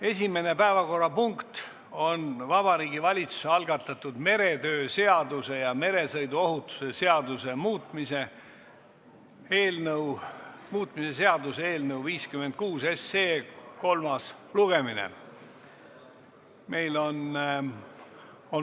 Esimene päevakorrapunkt on Vabariigi Valitsuse algatatud meretöö seaduse ja meresõiduohutuse seaduse muutmise seaduse eelnõu 56 kolmas lugemine.